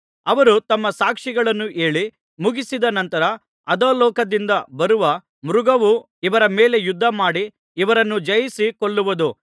ಅವರು ತಮ್ಮ ಸಾಕ್ಷಿಗಳನ್ನು ಹೇಳಿ ಮುಗಿಸಿದ ನಂತರ ಅಧೋಲೋಕದಿಂದ ಬರುವ ಮೃಗವು ಇವರ ಮೇಲೆ ಯುದ್ಧಮಾಡಿ ಇವರನ್ನು ಜಯಿಸಿ ಕೊಲ್ಲುವುದು